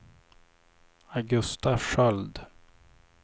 Augusta Sköld